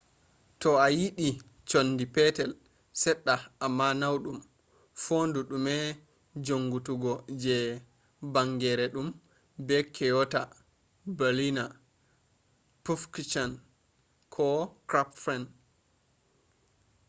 toh ayidi conndi petel sedda amma naudum fondu dume jonngituggo je banngeere dum be kyonata berliner pfannkuchen ko krapfen